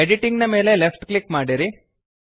editing ನ ಮೇಲೆ left click ಮಾಡಿರಿ